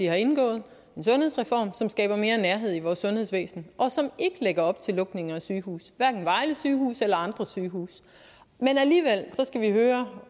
har indgået en sundhedsreform som skaber mere nærhed i vores sundhedsvæsen og som ikke lægger op til lukninger af sygehuse hverken vejle sygehus eller andre sygehuse men alligevel skal vi høre